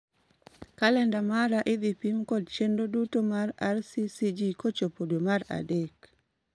Kalenda mara idhi pim kod chenro duto mag rccg kochopo dwe mar adek